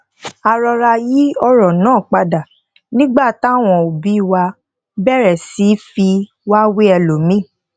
a rọra yí òrò náà padà nígbà táwọn obi wa bèrè sí í fi wá wé elomíì